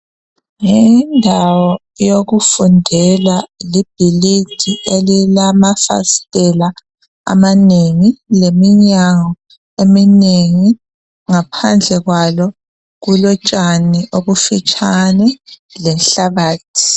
yindawo yokufundela libhilidi elilama fasitela amanengi leminyango eminengi ngaphandle kwalo kulotshani obufitshane lenhlabathi